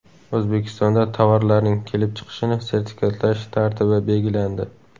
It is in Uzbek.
O‘zbekistonda tovarlarning kelib chiqishini sertifikatlash tartibi belgilandi.